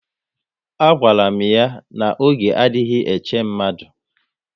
A gwara m ya na oge adịghị eche mmadụ